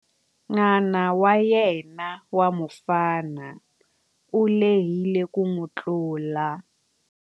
N'wana wa yena wa mufana u lehile ku n'wi tlula.